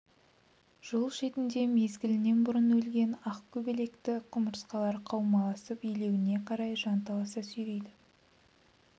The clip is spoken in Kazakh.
жол шетінде мезгілінен бұрын өлген ақ көбелекті құмырсқалар қаумаласып илеуіне қарай жанталаса сүйрейді